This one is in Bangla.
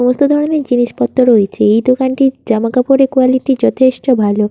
সমস্ত ধরনের জিনিসপত্র রয়েছে এই দোকানটির জামা কাপড়ের কোয়ালিটি যথেষ্ট ভালো।